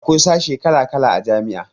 Akwai sashe kala kala a jami'a